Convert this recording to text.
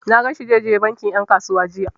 Na gan shi zai je bankin ƴan kasuwa jiya.